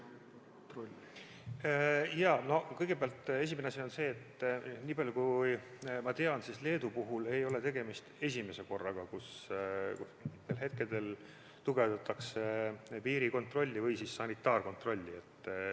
Kõigepealt, nii palju kui ma tean, Leedu puhul ei ole tegemist esimese korraga, kus tugevdatakse piirikontrolli või sanitaarkontrolli.